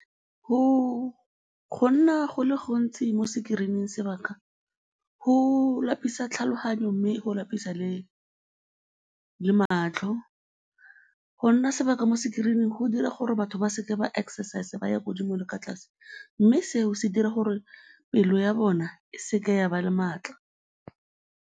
Go nna go le gontsi mo screen-ing sebaka, go lapisa tlhaloganyo mme go lapisa le matlho, go nna sebaka mo screen-ing go dira gore batho ba se ke ba exercise-a ba ya ko godimo le kwa tlase mme seo se dira gore pelo ya bona e seke ya ba le maatla.